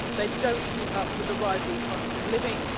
they don't keep up with the rising cost of living